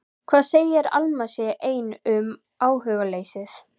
Hver segir að Alma sé ein um áhugaleysið?